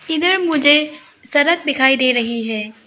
इधर मुझे सड़क दिखाई दे रही है।